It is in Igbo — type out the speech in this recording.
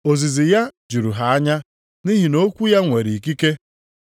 Ozizi ya juru ha anya, nʼihi na okwu ya nwere ikike.